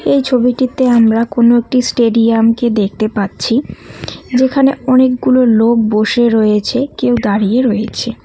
এই ছবিটিতে আমরা কোনও একটি স্টেডিয়ামকে দেখতে পাচ্ছি যেখানে অনেকগুলো লোক বসে রয়েছে কেউ দাঁড়িয়ে রয়েছে।